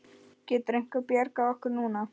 Getur einhver bjargað okkur núna?